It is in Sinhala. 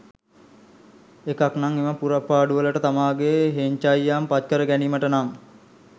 එකක් නම් එම පුරප්පාඩු වලට තමාගේ හෙංචයියන් පත්කර ගැනීමට නම්